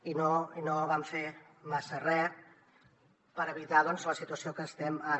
i no vam fer massa re per evitar doncs la situació en què estem ara